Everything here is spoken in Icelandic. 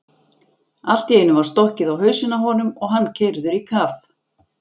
Allt í einu var stokkið á hausinn á honum og hann keyrður í kaf.